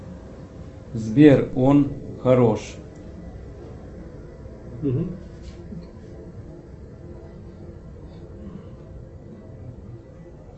сбер он хорош